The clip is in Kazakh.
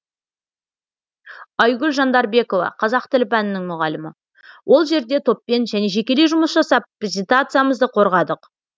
айгүл жандарбекова қазақ тілі пәнінің мұғалімі ол жерде топпен және жекелей жұмыс жасап презентациямызды қорғадық